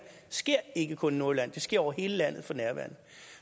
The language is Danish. sker ikke kun i nordjylland det sker over hele landet for nærværende